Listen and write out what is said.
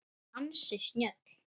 Ansi snjöll!